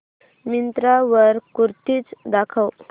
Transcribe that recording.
मिंत्रा वर कुर्तीझ दाखव